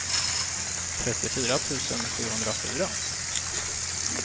trettiofyra tusen sjuhundrafyra